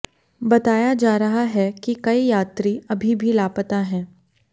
बताया जा रहा है कि कई यात्री अभी भी लापता हैं